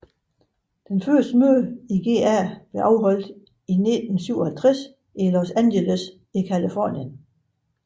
Det første møde i GA blev afholdt i 1957 i Los Angeles i Californien